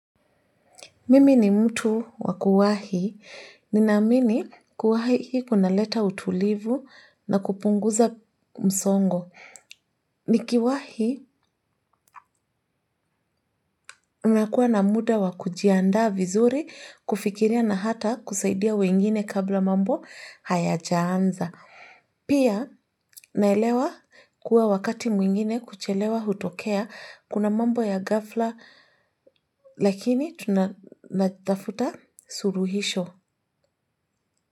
Mimi ni mtu wa kuwahi. Nina amini kuwahi kuna leta utulivu na kupunguza msongo. Nikiwahi unakuwa na muda wa kujiandaa vizuri kufikiria na hata kusaidia wengine kabla mambo hayajaanza. Pia naelewa kuwa wakati mwingine kuchelewa hutokea kuna mambo ya ghafla lakini tunatafuta suluhisho.